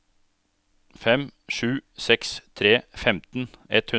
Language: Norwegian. fem sju seks tre femten ett hundre